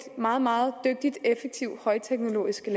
meget meget dygtigt effektivt og højteknologisk og